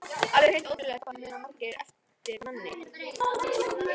Alveg hreint ótrúlegt hvað það muna margir eftir manni!